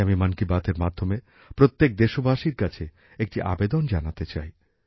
আজ আমি মন কি বাত এর মাধ্যমে প্রত্যেক দেশবাসীর কাছে একটি আবেদন জানাতে চাই